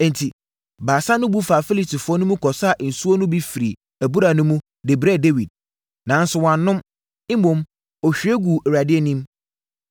Enti, Baasa no bu faa Filistifoɔ no mu kɔsaa nsuo no bi firii abura no mu, de brɛɛ Dawid. Nanso, wannom. Mmom, ɔhwie guu Awurade anim.